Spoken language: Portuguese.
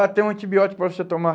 Ah, tem um antibiótico para você tomar.